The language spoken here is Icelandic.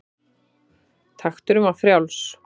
Takturinn var frjáls.